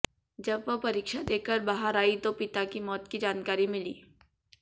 जब वह परीक्षा देकर बाहर आई तो पिता की मौत की जानकारी मिली